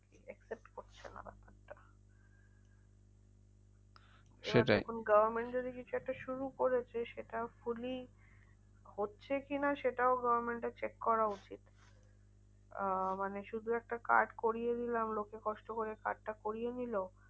এবার সেটাই দেখুন government যদি কিছু একটা শুরু করেছে সেটা fully হচ্ছে কি না? সেটাও government এর check করা উচিত। আহ মানে শুধু একটা card করিয়ে নিলাম। লোকে কষ্ট করে card টা করিয়ে নিলো।